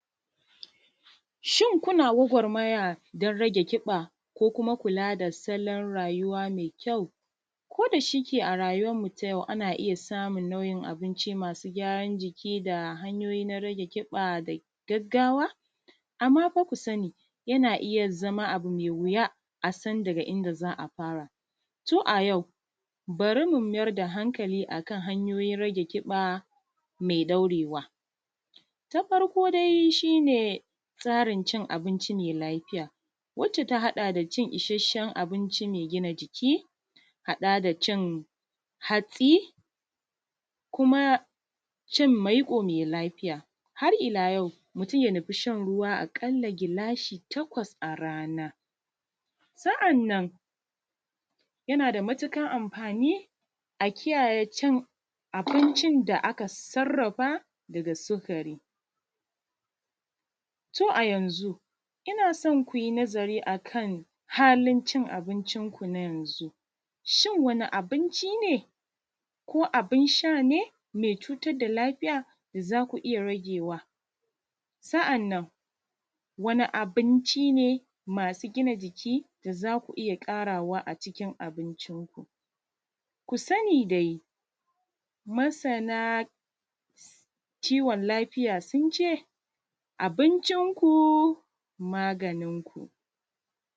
Shin kuna gwagwarmaya don rage kiɓa!? Ko kuma kula da salon rayuwa mai kyau? Kodashike a rayuwanmu ta yau, ana iya samun nau’in abinci masu gyaran jiki, da hanyoyi na rage kiɓa da gaggawa, amma fa ku sani, yana iya zama abu me wuya a san daga inda za a fara. Tun a yau, bari mu mayar da hankali, a kan hanyoyin rage kiɓa me daurewa. Ta farko dai shi ne tsarin cin abinci me lafiya. Wacce ta haɗa da cin ishasshen abinci mai gina jiki, haɗa da cin hatsi, kuma cin maiƙo mai lafiya. Harila yau, mutum ya nufi shan ruwa, a ƙalla gilashi takwas a rana. Sa’annan yana da matuƙan amfani, a kiyaye cin abinci da aka sarrafa daga sukari. To a yanzu ina son ku yi nazari, a kan halin cin abincinku na yanzu. Shin wani abinci ne, ko abin sha ne me cutar da lafiya, da za ku iya ragewa. Sa’annan wani abinci ne masu gina jiki, da za ku iya ƙarawa a cikin abinciku.. Ku sani dai masana kiwon lafiya sun ce, abincinku maganinku!